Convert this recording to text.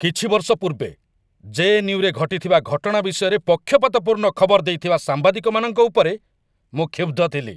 କିଛି ବର୍ଷ ପୂର୍ବେ, ଜେ.ଏନ୍.ୟୁ.ରେ ଘଟିଥିବା ଘଟଣା ବିଷୟରେ ପକ୍ଷପାତପୂର୍ଣ୍ଣ ଖବର ଦେଇଥିବା ସାମ୍ବାଦିକମାନଙ୍କ ଉପରେ ମୁଁ କ୍ଷୁବ୍ଧ ଥିଲି।